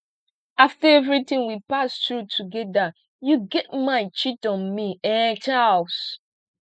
after everything we pass through together you get mind cheat on me um charles